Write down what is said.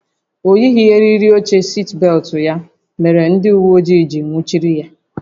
O yighị eriri oche sitbelụtụ ya mere na ndị uwe ojii jiri nwụchiri ya